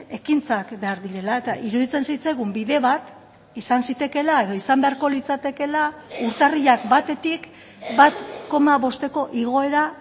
ekintzak behar direla eta iruditzen zitzaigun bide bat izan zitekeela edo izan beharko litzatekeela urtarrilak batetik bat koma bosteko igoera